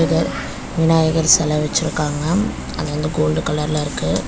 விநாயகர் செல வெச்சுருக்காங்க. அது வந்து கோல்ட் கலர்ல இருக்கு.